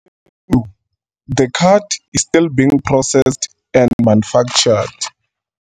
The card is still being processed and manufactured.